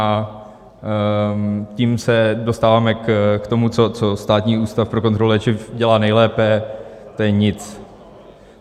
A tím se dostáváme k tomu, co Státní ústav pro kontrolu léčiv dělá nejlépe, to je nic.